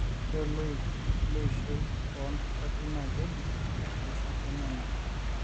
ore loik leishoi oo ntasati naa keji oshi keenyanyuk